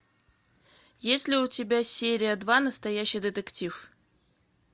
есть ли у тебя серия два настоящий детектив